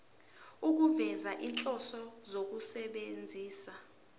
ukufeza izinhloso zokusebenzisa